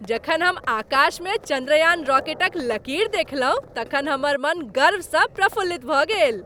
जखन हम आकाशमे चन्द्रयान रॉकेटक लकीर देखलहुँ तखन हमर मन गर्वसँ प्रफुल्लित भऽ गेल।